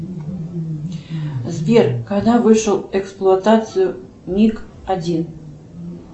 сбер когда вышел в эксплуатацию миг один